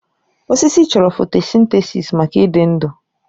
Osisi chọrọ fotosintesis maka ịdị ndụ.